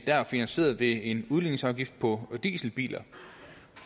der finansieret ved en udligningsafgift på dieselbiler